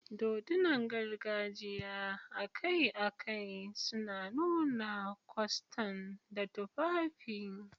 Dodunan gargajiya akai-akai suna nuna kwastan da tufafi.